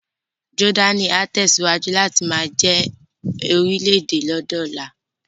Jọ́dánì á tẹ̀síwájú láti máa jẹ́ orílè-èdè ní ọjọ́ ọ̀la